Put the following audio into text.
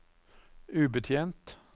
ubetjent